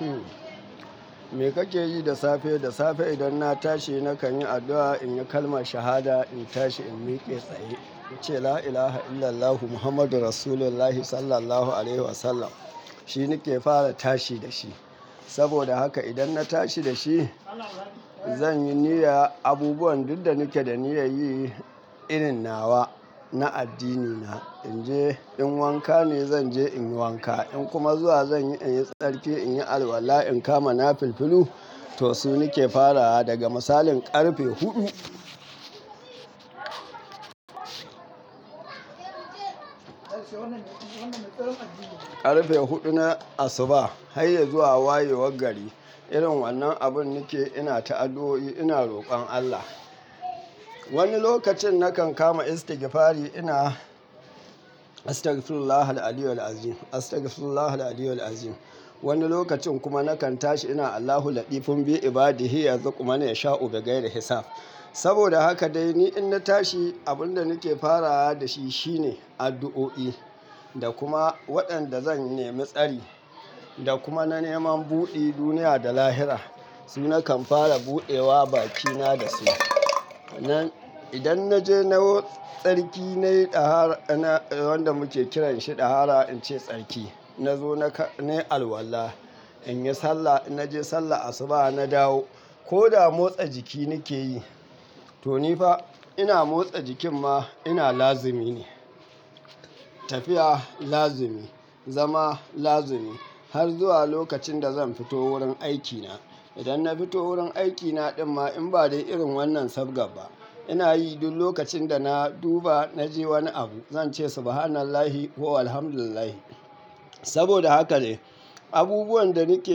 Ehum. Me kake yi da safe? Da safe idan na tashi nakan yi addu'a, in yi kalmar shahada, in tashi in miƙe tsaye. In ce la ilaha illallahu Muhammadun rasulullahi sallallahu alaihi wasallam. Shi nake fara tashi da shi. Saboda haka idan na tashi da shi, zan yi niyya abubuwan duk da nake da niyya yi irin nawa na addinina. In je in wanka ne zan je in yi wanka. In kuma zuwa zan yi in yi tsarki, in yi alwala, in kama na filfilu, to su nake farawa daga misalin ƙarfe huɗu. Ƙarfe huɗu na asuba har ya zuwa wayewar gari, irin wannan abun nake ina ta addu'o'i ina rokon Allah. Wani lokacin nakan kama istigifari ina astagfirullahal 'azima astagfirullahal 'azima. Wani lokacin kuma nakan tashi ina Allahu ladifun bi ibadihi yanzu kuma ne ya sha'u bigai da hisab. Saboda haka dai ni in na tashi abun da nake farawa da shi shine addu'o'i da kuma waɗanda zan nemi tsari da kuma na neman buɗe duniya da lahira. Su nakan fara buɗewa bakina da su. Sannan idan na je na yi tsarki na yi ɗahara, na wanda muke kiranshi ɗahara, in ce tsarki. Na zo na yi alwala. In yi sallah, inna je sallah asuba na dawo. Ko da motsa jiki nake yi, to ni fa ina motsa jikin ma ina lazimi ne. Tafiya lazimi, zama lazimi har zuwa lokacin da zan fito wurin aikina. Idan na fito wurin aikina ɗin ma in bari irin wannan sab gaba, ina yi duk lokacin da na duba na je wani abu, zan ce subhanallahi wa alhamdulillahi. Saboda haka ne abubuwan da nake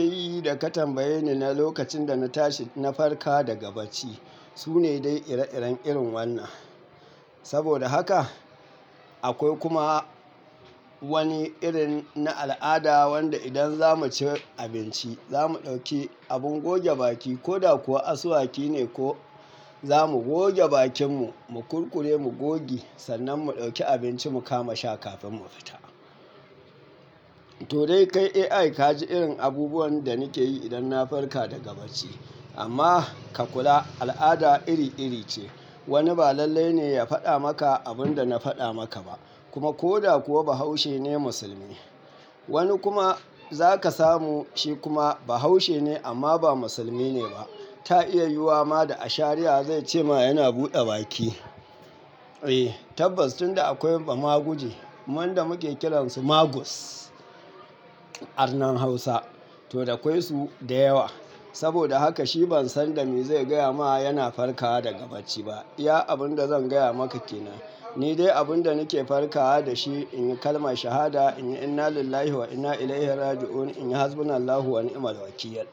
yi da ka tambaye ni na lokacin da na tashi na farka daga bacci su ne dai ire-iren irin wannan. Saboda haka akwai kuma wani irin na al'ada wanda idan za mu ci abinci, za mu ɗauki abin goge baki ko da kuwa asuwaki ne ko za mu goge bakinmu, mu kurkure mu goge, sannan mu ɗauki abinci mu kama sha kafin mu fita. To dai kai AI ka ji irin abubuwan da nake yi idan na farka daga bacci. Amma ka kula al'ada iri-iri ce. Wani ba lallai ne ya faɗa maka abin da na faɗa maka ba. Kuma ko da kuwa bahaushe ne musulmi. Wani kuma za ka samu shi kuma bahaushe ne amma ba musulmi ne ba. Ta iya yiwuwa ma da a shari'a zai ce ma yana buɗe baki. Eh tabbas tun da akwai bamaguje, wanɗa muke kiransu magus arnan Hausa. To dai akwai su da yawa. Saboda haka shi ban san da me zai gaya ma yana farkawa daga bacci ba. Iya abun da zan gaya maka ke nan. Ni dai abun da nake farkawa da shi in yi kalmar shahada, in inna lillahi wa inna ilaihi raji'un, in hasbunallahu wa ni'mal wakil.